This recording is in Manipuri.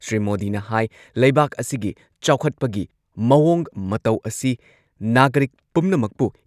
ꯁ꯭ꯔꯤ ꯃꯣꯗꯤꯅ ꯍꯥꯏ ꯂꯩꯕꯥꯛ ꯑꯁꯤꯒꯤ ꯆꯥꯎꯈꯠꯄꯒꯤ ꯃꯑꯣꯡ ꯃꯇꯧ ꯑꯁꯤ ꯅꯥꯒꯔꯤꯛ ꯄꯨꯝꯅꯃꯛꯄꯨ